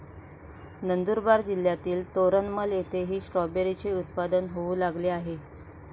नंदुरबार जिल्हातील तोरणमल येथेही स्ट्रॉबेरीचे उत्पादन होऊ लागले आहे.